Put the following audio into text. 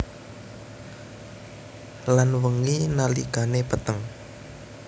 Lan wengi nalikane peteng